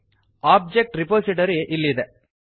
object repository ಇಲ್ಲಿದೆ